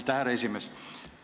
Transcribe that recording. Aitäh, härra esimees!